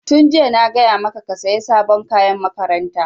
Tun jiya na gaya maka ka saya sabon kayan makaranta!